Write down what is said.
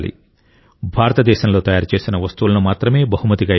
భారతదేశంలో తయారు చేసిన వస్తువులను మాత్రమే బహుమతిగా ఇవ్వాలి